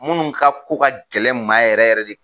Munnu ka ko ka gɛlɛn n ma yɛrɛ yɛrɛ de